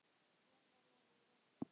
Sverða lagið varði.